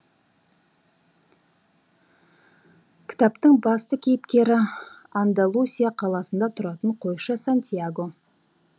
кітаптың басты кейіпкері андалусия қаласында тұратын қойшы сантьяго